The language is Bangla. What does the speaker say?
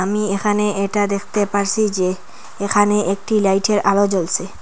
আমি এখানে এটা দেখতে পারসি যে এখানে একটি লাইটের আলো জ্বলসে।